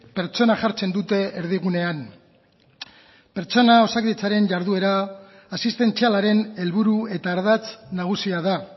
pertsona jartzen dute erdigunean pertsona osakidetzaren jarduera asistentzialaren helburu eta ardatz nagusia da